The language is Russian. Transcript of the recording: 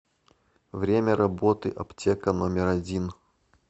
время работы аптека номер один